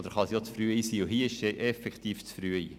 Und hier ist sie effektiv zu früh.